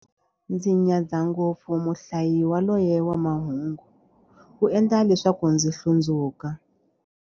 Ndzi nyadza ngopfu muhlayi yaloye wa mahungu, u endla leswaku ndzi hlundzuka.